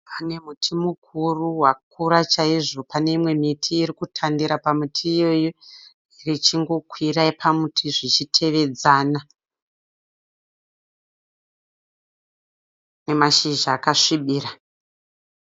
Pane muti mukuru wakura chaizvo. Paneimwe miti irikutandira pamuti iwoyo ichingokwira pamuti zvichitevedzana namashizha akasvibira.